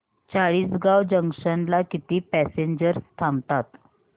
Chalisgaon junction ला किती passengers थांबतात